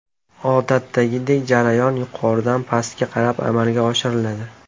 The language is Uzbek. Odatdagidek jarayon yuqoridan pastga qarab amalga oshiriladi.